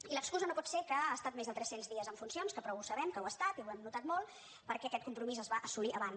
i l’excusa no pot ser que ha estat més de tres cents dies en funcions que prou ho sabem que ho ha estat i ho hem notat molt perquè aquest compromís es va assolir abans